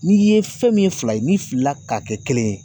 N'i ye fɛn min ye fila ye n'i filila ka kɛ kelen ye